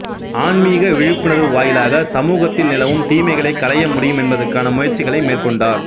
ஆன்மீக விழிப்புணர்வு வாயிலாக சமூகத்தில் நிலவும் தீமைகளைக் களையமுடியும் என்பதற்கான முயற்சிகளை மேற்கொண்டார்